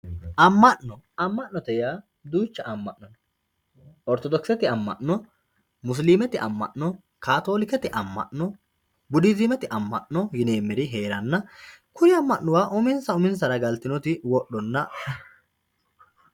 Ama'no, ama'note yaa duucha ama'no no, oritodokisete ama'no, musilimete ama'no, katolikkete ama'no, buddizziimete ama'no yineemeri heeranna kuri amana uminsa uminsara galitinoti wodhonna